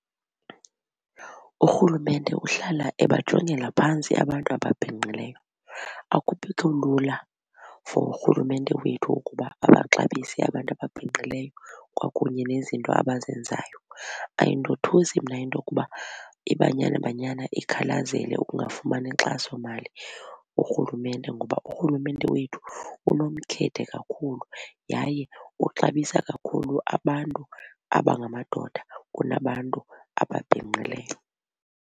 URhulumente uhlala ebajongela phantsi abantu ababhinqileyo. Akubikho lula for uRhulumente wethu ukuba abaxabise abantu ababhinqileyo kwakunye nezinto abazenzayo. Ayindothusi mna into yokuba iBanyana Banyana ikhalazele ukungafumani inkxasomali kuRhulumente ngoba uRhulumente wethu unomkhethe kakhulu yaye uxabisa kakhulu abantu abangamadoda kunabantu ababhinqileyo.